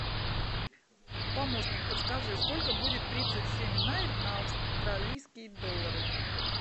помощник подскажи сколько будет тридцать семь найр на австралийские доллары